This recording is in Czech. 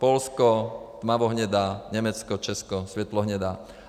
Polsko - tmavohnědá, Německo, Česko - světlehnědá.